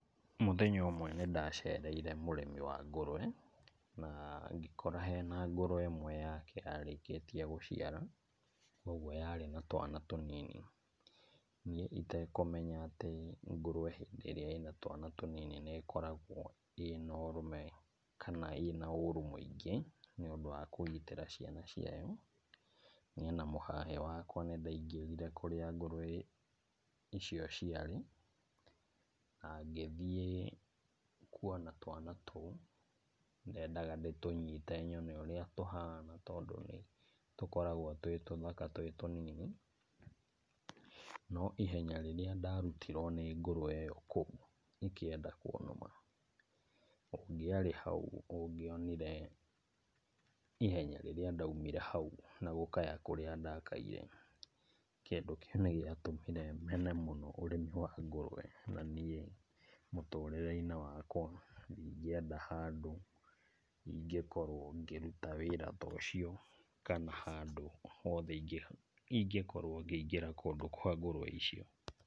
Mũthenya ũmwe nĩ ndacereire mũrĩmi wa ngũrũwe, na ngĩkora hena ngũrũwe ĩmwe yake yarĩkĩtie gũciara kuoguo yarĩ na twana tũnini. Niĩ itekũmenya atĩ ngũrũwe hĩndĩ ĩrĩa ĩna twana tũnini nĩkoragwo ĩna ũrũme kana ĩna ũru mũingĩ nĩ ũndũ wa kũgitĩra ciana ciayo, niĩ na mũhahĩ wakwa nĩ ndaingĩrire kũrĩa ngũrũwe icio ciarĩ na ngĩthiĩ kuona twana tũu ndendaga ndĩtũnyite nyone ũrĩa tũhana tondũ nĩ tũkoragwo twĩ tũthaka twĩ tũnini. No ihenya rĩrĩa ndarutirwo nĩ ngũrũwe ĩyo kũu ĩkĩenda kũnũma, ũngĩarĩ hau, ũngĩonire ihenya rĩrĩa ndaumire hau na gũkaya kũrĩa ndakaire, kĩndũ kĩu nĩ gĩatũmire mene mũno ũrĩmi wa ngũrũwe na niĩ mũtũrĩre-inĩ wakwa ndingĩenda handũ ingĩkorwo ngĩruta wĩra ta ũcio, kana handũ hothe ingĩkorwo ngĩingĩra kũndũ kwa ngũrũwe icio.